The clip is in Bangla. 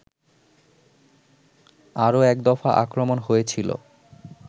আরো একদফা আক্রমণ হয়েছিল